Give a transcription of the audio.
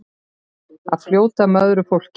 Að fljóta með öðru fólki.